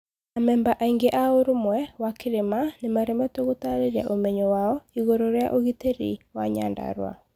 Amemba aingĩ a ũrũmwe wa kĩrĩma nĩmaremetwo gũtarĩria ũmenyo wao ĩgũrũ rĩa ũgitĩri wa Nyandarua.